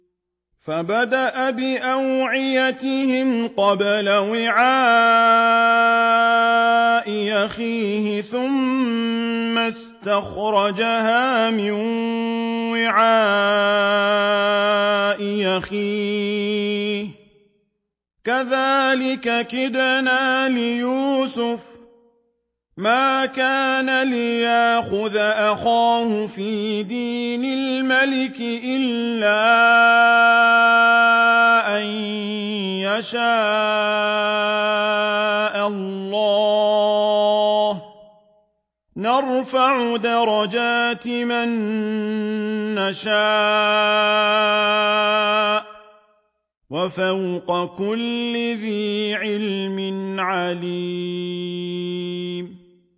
فَبَدَأَ بِأَوْعِيَتِهِمْ قَبْلَ وِعَاءِ أَخِيهِ ثُمَّ اسْتَخْرَجَهَا مِن وِعَاءِ أَخِيهِ ۚ كَذَٰلِكَ كِدْنَا لِيُوسُفَ ۖ مَا كَانَ لِيَأْخُذَ أَخَاهُ فِي دِينِ الْمَلِكِ إِلَّا أَن يَشَاءَ اللَّهُ ۚ نَرْفَعُ دَرَجَاتٍ مَّن نَّشَاءُ ۗ وَفَوْقَ كُلِّ ذِي عِلْمٍ عَلِيمٌ